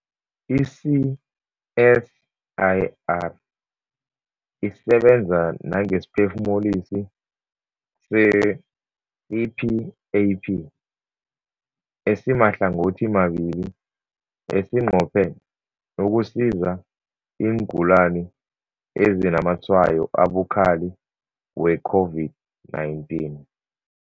I-CSIR isebenza nangesiphefumulisi se-CPAP esimahlangothimabili esinqophe ukusiza iingulani ezinazamatshwayo abukhali we-COVID-19.